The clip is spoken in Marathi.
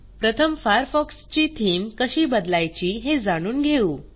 प्रथम फायरफॉक्सची थीम कशी बदलायची हे जाणून घेऊ